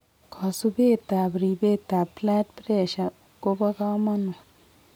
Kosubet ab ribeet ab blood pressure kobo kamanut